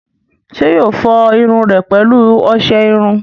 ṣé yóò fọ irun rẹ̀ pẹ̀lú ọsẹ iru?